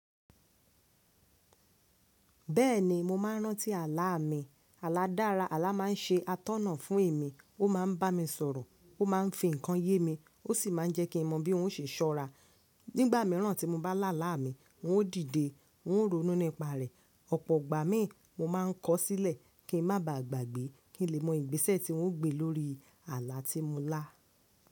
Bẹ́ẹ̀ni mo máa ń rántí àlá mi. Àlá dára, àlá máa ń ṣe atọ́nà fún èmi, ó máa ń bá mi sọ̀rọ̀, ó máa ń fi nǹkan yé mi, ó sì máa ń jẹ́ kí n mọ bí ng o ṣe ṣọ́ra. Nígbà mìíràn tí mo bá lá àlá mi, ng ó dìde, ng ó ronú nípa rẹ̀. Ọ̀pọ̀ ìgbà mí, mo máa ń kọ̀ ọ́ sílẹ̀ kí ń má ba à gbàgbé kí ń lè mọ ìgbésẹ̀ tí ng o gbé lórí àlá tí mo lá.